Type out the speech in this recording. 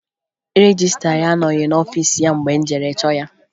Rejistra anọghị n'ọfiisi ya mgbe m jere chọọ ya